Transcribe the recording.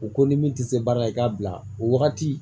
U ko ni min tɛ se baara la i k'a bila o wagati